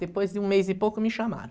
Depois de um mês e pouco me chamaram.